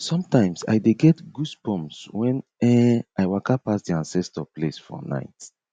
sometimes i dey get goosebumps when um i waka pass di ancestor place for night